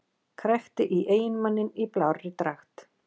Krækti í eiginmanninn í blárri dragt